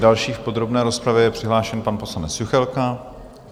Další v podrobné rozpravě je přihlášen pan poslanec Juchelka.